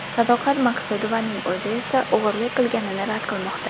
Sadoqat Maqsudovaning o‘zi esa o‘g‘irlik qilganini rad qilmoqda.